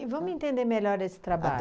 E vamos entender melhor esse trabalho.